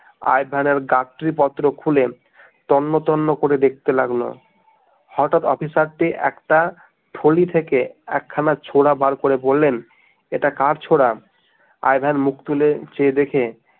I ভেনের গাট্টিপত্র খুলে তন্ন তন্ন করে দেখতে লাগলো হঠাৎ অফিসার টি একটা থলি থেকে একখানা ছোরা বার করে বললেন, এটা কার ছোরা? আই ভেন মুখ তুলে চেয়ে দেখে